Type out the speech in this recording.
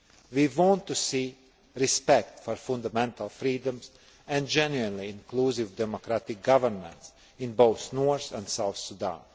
We want to see respect for fundamental freedoms and genuinely inclusive democratic governments in both North and South Sudan.